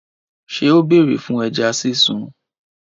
Ṣé ó bèrè fún ẹja sísun?